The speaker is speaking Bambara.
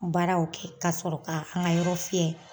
Baaraw kɛ ka sɔrɔ ka an ka yɔrɔ fiyɛ.